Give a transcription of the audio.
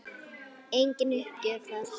Engin uppgjöf þar.